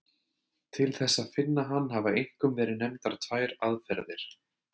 Til þess að finna hann hafa einkum verið nefndar tvær aðferðir.